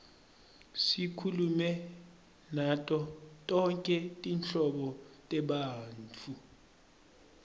sikhulume nato tonkhe tinhlobo tebantfu